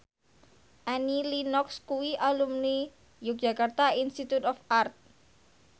Annie Lenox kuwi alumni Yogyakarta Institute of Art